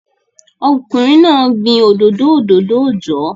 Ọkùnrin náà gbin òdòdó òdòdó ọjọ́